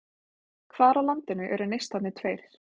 Hvar á landinu eru Neistarnir tveir?